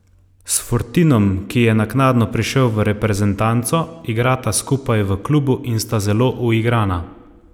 S Fortinom, ki je naknadno prišel v reprezentanco, igrata skupaj v klubu in sta zelo uigrana.